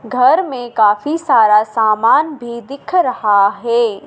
घर में काफ़ी सारा सामान भी दिख रहा है।